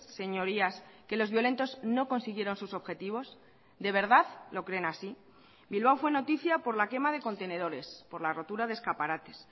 señorías que los violentos no consiguieron sus objetivos de verdad lo creen así bilbao fue noticia por la quema de contenedores por la rotura de escaparates